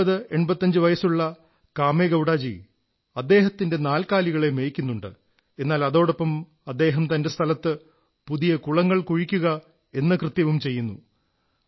8085 വയസ്സുള്ള കാമേഗൌഡാജീ അദ്ദേഹത്തിന്റെ നാൽക്കാലികളെ മേയ്ക്കുന്നുണ്ട് എന്നാൽ അതോടൊപ്പം അദ്ദേഹം തന്റെ സ്ഥലത്ത് പുതിയ കുളങ്ങൾ കുഴിക്കയെന്ന കൃത്യവും ചെയ്യുന്നു